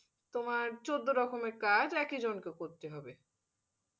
তোমার চোদ্দ রকমের কাজ একই জন কে করতে হবে।